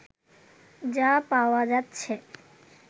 যা পাওয়া যাচ্ছে